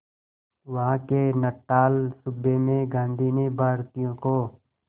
वहां के नटाल सूबे में गांधी ने भारतीयों को